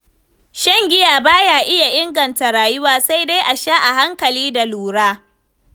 Shan giya ba ya inganta rayuwa, sai dai a sha a hankali da lura.